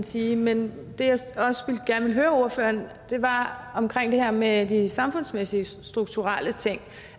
sige men det jeg også gerne vil høre ordføreren var om det her med de samfundsmæssige strukturelle ting